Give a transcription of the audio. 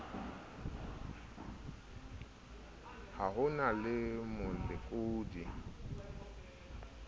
ha ho na le molekodi